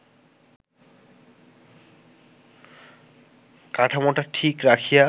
কাঠামোটা ঠিক রাখিয়া